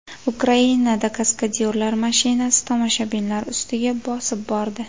Ukrainada kaskadyorlar mashinasi tomoshabinlar ustiga bosib bordi.